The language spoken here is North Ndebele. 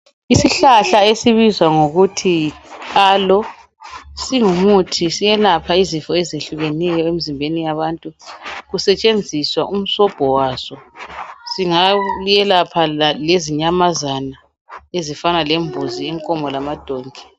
Isihlahla esisibiza ngokuthi yiAloe singumuthi siyelapha izifo ezitshiyeneyo emzimbeni, kusetshenziswa lomsobho waso kungelatshwa inyamazana ezinjembuzi, inkomo kanye lamadonki.